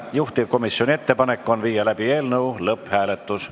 Juhtivkomisjoni ettepanek on viia läbi eelnõu lõpphääletus.